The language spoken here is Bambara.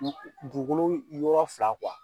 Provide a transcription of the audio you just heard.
dugukolo yɔrɔ fila